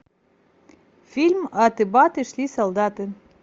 фильм аты баты шли солдаты